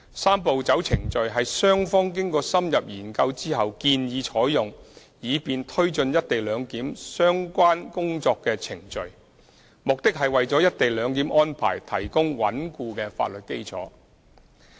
"三步走"程序是雙方經過深入研究後建議採用以便推展"一地兩檢"相關工作的程序，目的是為"一地兩檢"安排提供穩固的法律基礎。